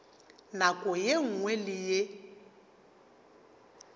nako ye nngwe le ye